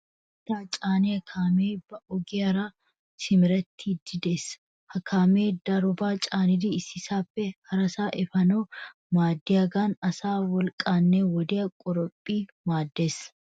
Mittaa caaniya kaamee ba ogiyaara simerettiiddi des. Ha kaamee darobaa caanidi issisaappe harasaa efanawu maaddiyagan asaa wolqqaanne wodiya qoraphphi maaddes.